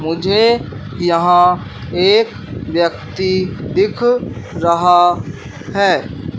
मुझे यहां एक व्यक्ति दिख रहा है।